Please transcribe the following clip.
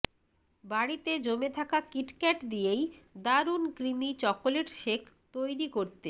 বাড়িতে জমে থাকা কিটক্যাট দিয়েই দারুণ ক্রিমি চকোলেট শেক তৈরি করতে